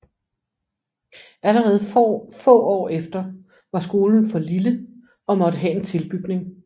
Allerede få år efter var skolen for lille og måtte have en tilbygning